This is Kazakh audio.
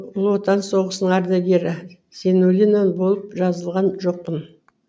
ұлы отан соғысының ардагері зайнуллина болып жазылған жоқпын